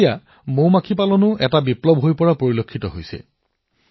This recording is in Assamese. এতিয়া মৌ মাখি পালনো এনে এটা বিকল্প হৈ উঠিছে